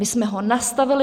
My jsme ho nastavili.